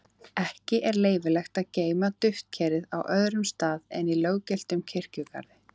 Ekki er leyfilegt að geyma duftkerið á öðrum stað en í löggiltum kirkjugarði.